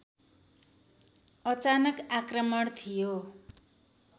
अचानक आक्रमण थियो